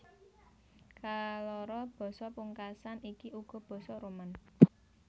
Kaloro basa pungkasan iki uga basa Roman